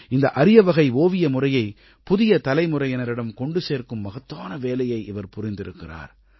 இந்த அரியவகை ஓவிய முறையை புதிய தலைமுறையினரிடம் கொண்டு சேர்க்கும் மகத்தான வேலையை இவர் புரிந்திருக்கிறார்